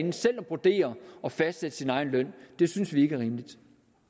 vurdere og fastsætte sin egen løn det synes vi ikke er rimeligt